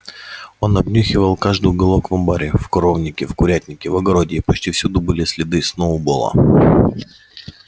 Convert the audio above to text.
он обнюхивал каждый уголок в амбаре в коровнике в курятнике в огороде и почти всюду были следы сноуболла